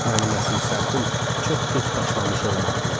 Mənim əsil səhvim çox gec başlamış olmağımdır.